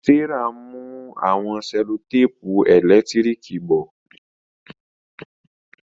Serah n mú àwọn sellotape elekitiriki bo.